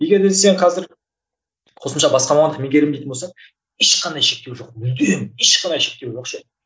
егер де сен қазір қосымша басқа мамандық меңгерем дейтін болсаң ешқандай шектеу жоқ мүлдем ешқандай шектеу жоқ ше